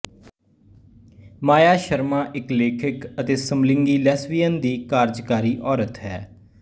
ਮਾਇਆ ਸ਼ਰਮਾ ਇੱਕ ਲੇਖਕਅਤੇ ਸਮਲਿੰਗੀ ਲੈਸਬੀਅਨ ਦੀ ਕਾਰਜਕਾਰੀ ਔਰਤ ਹੈ